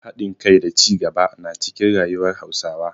Hadin kai da cigaba na cikin rayuwar Hausawa.